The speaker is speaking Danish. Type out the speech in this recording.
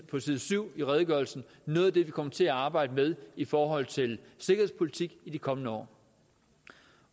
på side syv i redegørelsen vi kommer til at arbejde med i forhold til sikkerhedspolitik i de kommende år